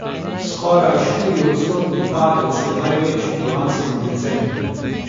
Skoraj štiriodstotni padec je največji po lanskem decembru.